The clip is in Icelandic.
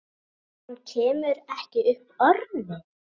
Hann kemur ekki upp orði.